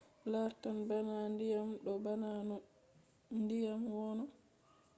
lartan bana ndiyam. ɗo bana no ndiyam wono